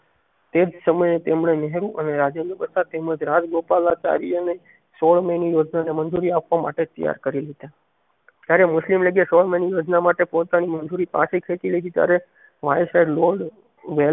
તેજ સમયે તમને નહેરુ અને રાજેન્દ્ર પ્રસાદ તેમજ રાજ ગોપાલાચાર્ય ને સોળ મે ની યોજનાને મંજુરી આપવા માટે તૈયારકરી લીધા તયારે મુસ્લિમ લીગે સોળ મેં ની યોજના માટે પોતાની મજૂરી પાછી ખેચી લેંઘી તૈયારે